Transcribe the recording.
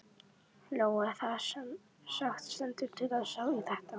Lóa: Það semsagt stendur til að sá í þetta?